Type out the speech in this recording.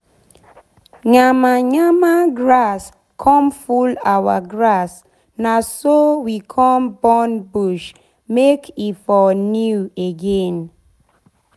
yama yama grass come full our grass na so we come burn bush make e for new again.